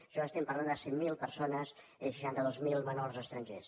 això estem parlant de cent miler persones i seixanta dos mil menors estrangers